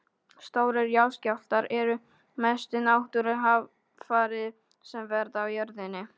Stórir jarðskjálftar eru mestu náttúruhamfarir sem verða á jörðinni.